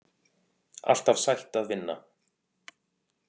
Alltaf sætt að vinna